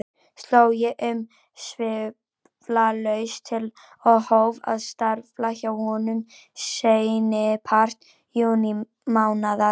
Sló ég umsvifalaust til og hóf að starfa hjá honum seinnipart júnímánaðar.